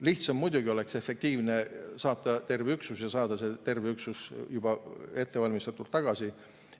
Lihtsam ja efektiivne oleks muidugi saata terve üksus ja saada terve üksus juba ettevalmistatult tagasi.